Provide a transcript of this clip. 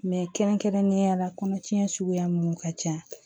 kɛrɛnkɛrɛnnenya la kɔnɔtiɲɛ suguya minnu ka ca